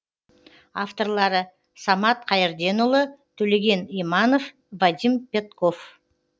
авторлары самат қайырденұлы төлеген иманов вадим пятков